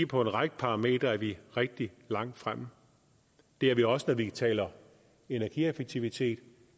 på en række parametre er vi rigtig langt fremme det er vi også når vi taler energieffektivitet